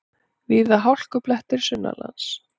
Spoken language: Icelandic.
Víða hálkublettir sunnanlands